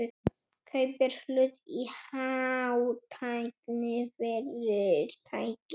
Kaupir hlut í hátæknifyrirtæki